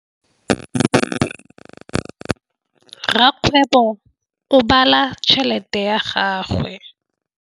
Rakgwêbô o bala tšheletê ya gagwe.